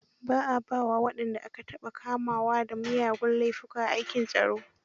Ba a ba wa wanda aka taɓa kamawa dan miyagun laifuka aikin tsaro.